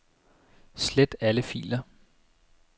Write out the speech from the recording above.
Slet alle filer.